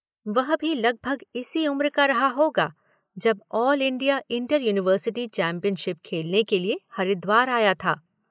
वह भी लगभग इसी उम्र का रहा होगा जब all India inter university championship खेलने के लिए हरिद्वार आया था।